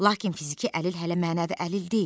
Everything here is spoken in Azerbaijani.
Lakin fiziki əlil hələ mənəvi əlil deyil.